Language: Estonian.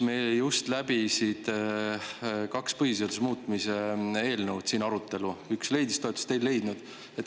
Meil just läbis siin arutelu kaks põhiseaduse muutmise eelnõu, üks leidis toetust, teine ei leidnud.